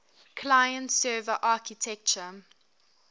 client server architecture